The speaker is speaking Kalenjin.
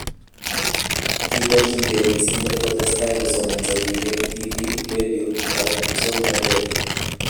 Kiborjingei missing kole kotestai kosomonso biik eng TV,radio ak musoknotet